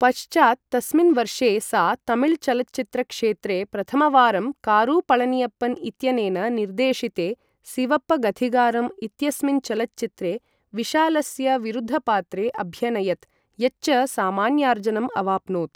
पश्चात् तस्मिन् वर्षे सा तमिलचलच्चित्रक्षेत्रे प्रथमवारं कारु पळनियप्पन् इत्यनेन निर्देशिते सिवप्पगथिगारम् इत्यस्मिन् चलच्चित्रे विशालस्य विरुद्धपात्रे अभ्यनयत्, यच्च सामान्यार्जनम् अवाप्नोत्।